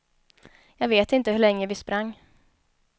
Jag vet inte hur länge vi sprang.